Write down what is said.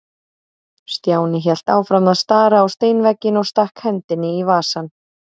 Stjáni hélt áfram að stara á steinvegginn og stakk hendinni í vasann.